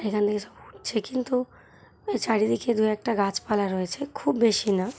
এখান থেকে কিন্তু চারিদিকে দু একটা গাছপালা রয়েছে খুব বেশি না।